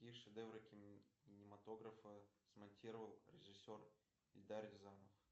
какие шедевры кинематографа смонтировал режиссер эльдар рязанов